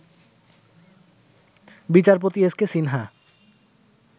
বিচারপতি এসকে সিনহা